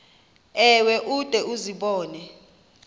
ewe ude uzibone